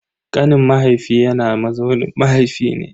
Kanin mahaifi yana mazaunin mahaifi ne.